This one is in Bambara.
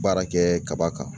Baara kɛ kaba kan